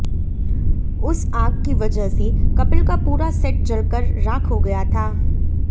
उस आग की वजह से कपिल का पूरा सेट जलकर राख हो गया था